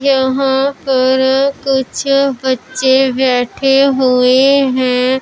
यहां पर कुछ बच्चे बैठे हुए हैं।